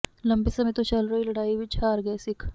ਲੰਬੇ ਸਮੇਂ ਤੋਂ ਚੱਲ ਰਹੀ ਲੜਾਈ ਵਿਚ ਹਾਰ ਗਏ ਸਿੱਖ